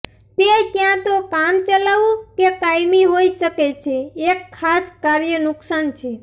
તે ક્યાં તો કામચલાઉ કે કાયમી હોઈ શકે છે એક ખાસ કાર્ય નુકસાન છે